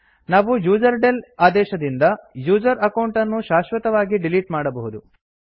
ನಾವು ಯುಸರ್ಡೆಲ್ ಆದೇಶದಿಂದ user account ಅನ್ನು ಶಾಶ್ವತವಾಗಿ ಡಿಲೀಟ್ ಮಾಡಬಹುದು